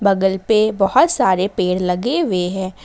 बगल पे बहुत सारे पेड़ लगे हुए हैं।